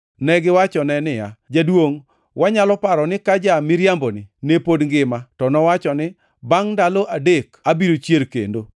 Negiwachone niya, “Jaduongʼ, wanyalo paro ni ka ja-miriamboni ne pod ngima to nowacho ni, ‘Bangʼ ndalo adek to abiro chier kendo.’